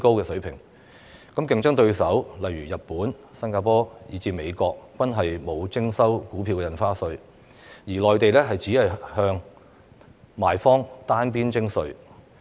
香港的競爭對手如日本、新加坡以至美國均沒有徵收股票印花稅，而內地亦只向賣方單邊徵稅。